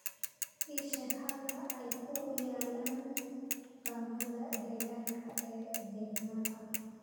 ii sheeg halka ay ku yaalaan dukaamada deegaanka ee degmada